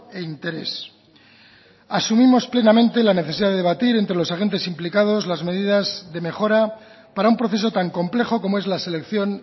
e interés asumimos plenamente la necesidad de debatir entre los agentes implicados las medidas de mejora para un proceso tan complejo como es la selección